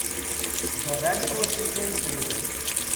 the Ramco cements limited